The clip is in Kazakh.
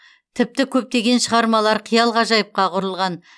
тіпті көптеген шығармалар қиял ғажайыпқа құрылған